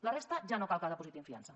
la resta ja no cal que dipositin fiança